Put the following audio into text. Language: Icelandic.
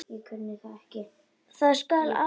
Það skal aldrei verða!